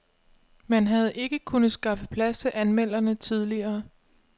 Man havde ikke kunnet skaffe plads til anmelderne tidligere.